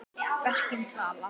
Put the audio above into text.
Verkin tala.